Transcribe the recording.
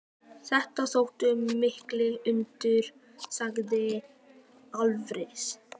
Þetta þóttu mikil undur, segir Alfreð.